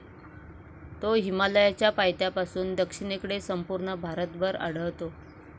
तो हिमालयाच्या पायथ्यापासून दक्षिणेकडे संपूर्ण भारतभर आढळतो.